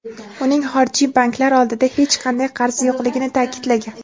uning xorijiy banklar oldida hech qanday qarzi yo‘qligini ta’kidlagan.